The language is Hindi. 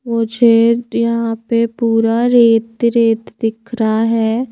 मुझे यहां पे पूरा रेत-रेत दिख रहा है।